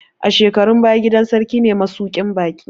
A shekarun baya, gidan sarki ne masuƙin baƙi